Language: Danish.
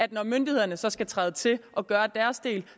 og når myndighederne så skal træde til og gøre deres del